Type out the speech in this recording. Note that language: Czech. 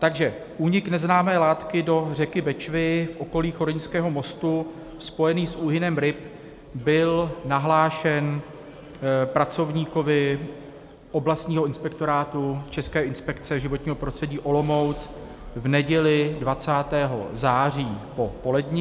Takže únik neznámé látky do řeky Bečvy v okolí choryňského mostu spojený s úhynem ryb byl nahlášen pracovníkovi oblastního inspektorátu České inspekce životního prostředí Olomouc v neděli 20. září po poledni.